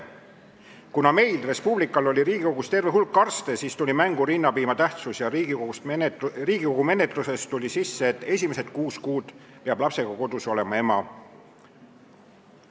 Kuna meil, Res Publical, oli Riigikogus terve hulk arste, siis tuli mängu rinnapiima tähtsus ja Riigikogu menetluse ajal tuli eelnõusse sisse, et esimesed kuus kuud peab lapsega kodus olema ema.